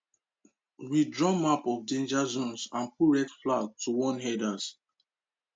we draw map of danger zones and put red flag to warn herders